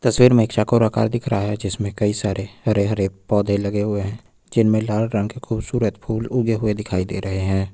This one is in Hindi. तस्वीर में एक चौकोर आकर दिख रहा है जिसमें कई सारे हरे हरे पौधे लगे हुए हैं जिनमें लाल रंग के खूबसूरत फूल उगे हुए दिखाई दे रहे हैं।